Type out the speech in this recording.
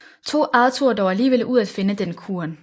Tog Arthur dog aligevel ud at finde den kuren